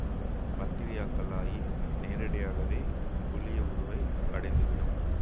பக்டீரியாக்களாயின் நேரடியாகவே குழியவுருவை அடைந்து விடும்